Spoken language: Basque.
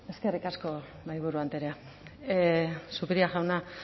eskerrik asko mahaiburu andrea zupiria jauna